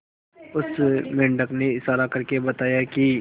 उस मेंढक ने इशारा करके बताया की